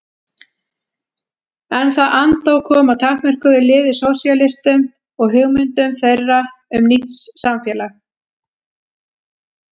En það andóf kom að takmörkuðu liði sósíalistum og hugmyndum þeirra um nýtt samfélag.